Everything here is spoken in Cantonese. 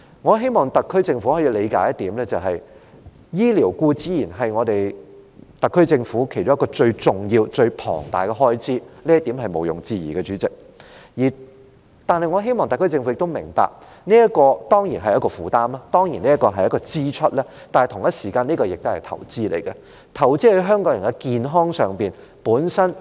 我希望特區政府理解，醫療固然是特區政府其中一項最重要、最龐大的開支，這一點毋庸置疑，主席，但我希望特區政府亦明白，這固然是一種負擔、是一項支出，然而，同時候這也是一項投資，是投資在香港人的健康上。